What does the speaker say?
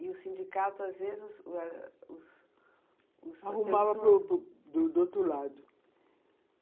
E o sindicato, às vezes, os as pessoas... Arrumava do do outro lado.